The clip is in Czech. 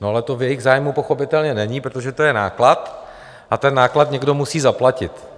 No, ale to v jejich zájmu pochopitelně není, protože to je náklad a ten náklad někdo musí zaplatit.